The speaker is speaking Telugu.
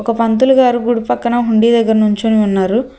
ఒక పంతులుగారు గుడి పక్కన హుండీ దగ్గర నుంచుని ఉన్నారు.